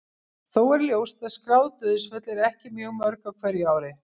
Þó er ljóst að skráð dauðsföll eru ekki mjög mörg á hverju ári.